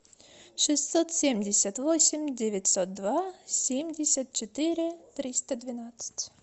шестьсот семьдесят восемь девятьсот два семьдесят четыре триста двенадцать